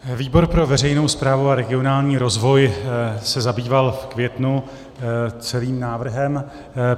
Výbor pro veřejnou správu a regionální rozvoj se zabýval v květnu celým návrhem.